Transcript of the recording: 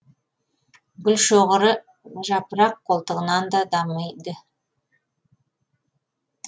гүлшоғыры жапырақ қолтығынан да дамиды